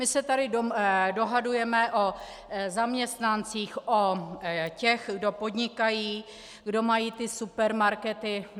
My se tady dohadujeme o zaměstnancích, o těch, kdo podnikají, kdo mají ty supermarkety.